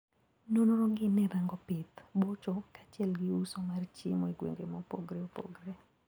Nonrogi nerango pith, bocho kachiel gi uso mar chiemo egwenge mopogre opogre.